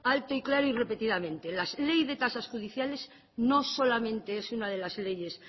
alto y claro y repetidamente la ley de tasas judiciales no solamente es una de las leyes